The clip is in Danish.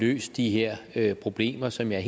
løst de her problemer som jeg